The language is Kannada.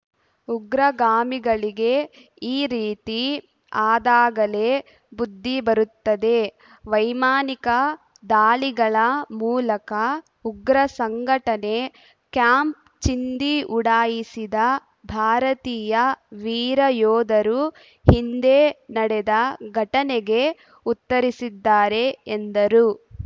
ಉಗ್ರಗಾಮಿಗಳಿಗೆ ಈ ರೀತಿ ಆದಾಗಲೇ ಬುದ್ದಿ ಬರುತ್ತದೆ ವೈಮಾನಿಕ ದಾಳಿಗಳ ಮೂಲಕ ಉಗ್ರ ಸಂಘಟನೆ ಕ್ಯಾಂಪ್‌ ಚಿಂದಿ ಉಡಾಯಿಸಿದ ಭಾರತೀಯ ವೀರ ಯೋಧರು ಹಿಂದೆ ನಡೆದ ಘಟನೆಗೆ ಉತ್ತರಿಸಿದ್ದಾರೆ ಎಂದರು